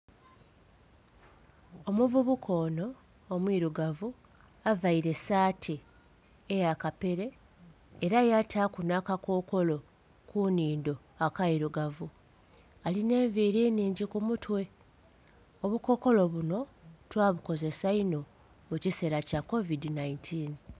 Omuvubuka ono omwirugavu avaire saati eya kapeere era yataku n'akakokolo kunindo akairugavu alina enviiri nhingi kumutwe obukokolo buno twabukozesa inho mukisera kya kovidhi nhaintini.